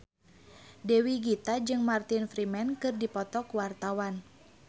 Dewi Gita jeung Martin Freeman keur dipoto ku wartawan